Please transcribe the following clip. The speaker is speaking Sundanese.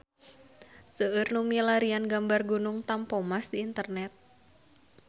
Seueur nu milarian gambar Gunung Tampomas di internet